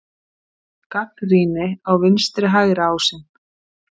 Gagnrýni á vinstri-hægri ásinn